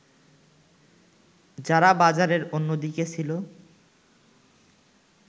যারা বাজারের অন্যদিকে ছিল